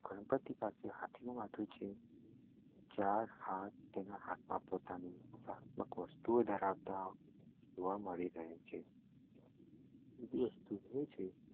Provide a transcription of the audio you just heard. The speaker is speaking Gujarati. ગણપતિ પાસે હાથમાં છે ચાર હાથ તેના હાથમાં પોતાની વસ્તુઓ ધરાવતા જોવા મળી રહે છે બીજી વસ્તુ એ છે